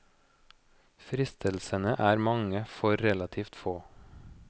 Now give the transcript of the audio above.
Fristelsene er mange for relativt få.